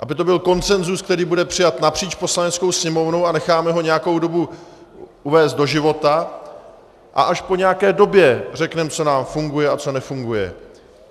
Aby to byl konsenzus, který bude přijat napříč Poslaneckou sněmovnou, a necháme ho nějakou dobu uvést do života a až po nějaké době řekneme, co nám funguje a co nefunguje.